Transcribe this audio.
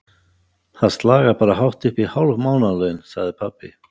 Það slagar bara hátt uppí hálf mánaðarlaun, sagði pabbi.